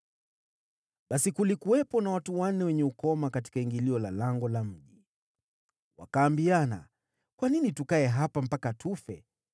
Basi kulikuwepo na watu wanne wenye ukoma katika ingilio la lango la mji. Wakaambiana, “Kwa nini tukae hapa mpaka tufe?